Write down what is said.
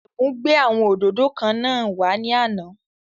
Ẹ̀bùn gbé àwọn òdòdó kan wá ní àná